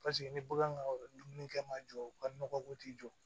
Paseke ni bagan ka yɔrɔ dumunikɛ ma jɔ u ka nɔgɔ ko t'i jɔ